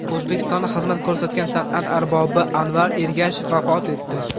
O‘zbekistonda xizmat ko‘rsatgan san’at arbobi Anvar Ergashev vafot etdi.